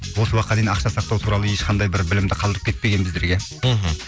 осы уақытқа дейін ақша сақтау туралы ешқандай бір білімді қалдырып кетпеген біздерге мхм